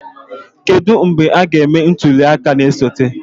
Kedu mgbe a ga-eme ntuli aka na-esote?